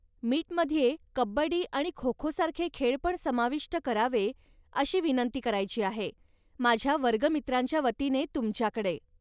मीटमध्ये कब्बडी आणि खोखोसारखे खेळ पण समाविष्ट करावे अशी विनंती करायची आहे, माझ्या वर्गमित्रांच्यावतीने तुमच्याकडे.